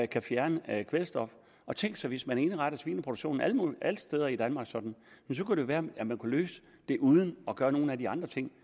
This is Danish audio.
kan fjerne kvælstof og tænk sig hvis man indrettede svineproduktionen alle steder i danmark sådan så kunne det være at man kunne løse det uden at gøre nogen af de andre ting